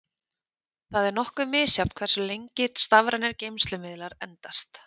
Það er nokkuð misjafnt hversu lengi stafrænir geymslumiðlar endast.